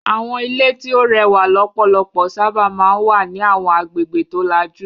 Àwọn ilé tí ó rẹwà lọ́pọ̀lọpọ̀ sábà máa ń wà ní àwọn agbègbè tó lajú.